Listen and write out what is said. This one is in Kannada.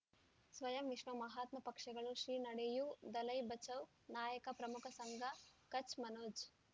ಸ್ವಯಂ ವಿಶ್ವ ಮಹಾತ್ಮ ಪಕ್ಷಗಳು ಶ್ರೀ ನಡೆಯೂ ದಲೈ ಬಚೌ ನಾಯಕ ಪ್ರಮುಖ ಸಂಘ ಕಚ್ ಮನೋಜ್